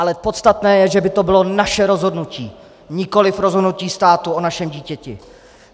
Ale podstatné je, že by to bylo naše rozhodnutí, nikoliv rozhodnutí státu o našem dítěti.